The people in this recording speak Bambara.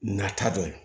Nata dɔ ye